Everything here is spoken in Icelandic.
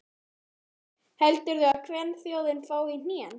Hafþór Gunnarsson: Heldurðu að kvenþjóðin fái í hnén?